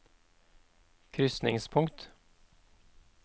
krysningspunkt